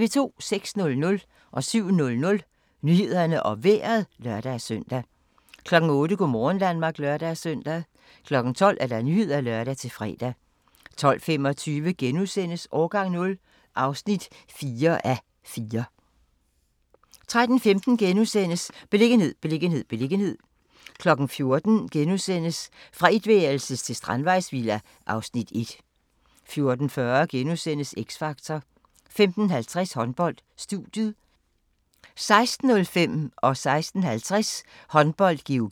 06:00: Nyhederne og Vejret (lør-søn) 07:00: Nyhederne og Vejret (lør-søn) 08:00: Go' morgen Danmark (lør-søn) 12:00: Nyhederne (lør-fre) 12:25: Årgang 0 (4:4)* 13:15: Beliggenhed, beliggenhed, beliggenhed * 14:00: Fra etværelses til strandvejsvilla (Afs. 1)* 14:40: X Factor * 15:50: Håndbold: Studiet 16:05: Håndbold: GOG - Ribe-Esbjerg (m)